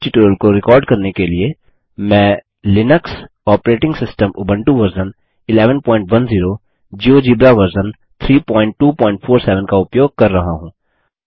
इस ट्यूटोरियल को रिकॉर्ड करने के लिए मैं Linux operating system Ubuntu version 1110 GeoGebra version 3247 का उपयोग कर रहा हूँ